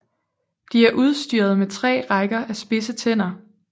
De er udstyret med 3 rækker af spidse tænder